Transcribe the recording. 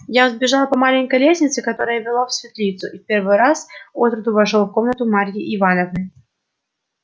я взбежал по маленькой лестнице которая вела в светлицу и в первый раз отроду вошёл в комнату марьи ивановны